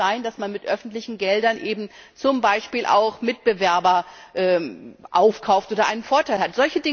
Es kann nicht sein, dass man mit öffentlichen Geldern eben zum Beispiel auch Mitbewerber aufkauft oder einen Vorteil hat.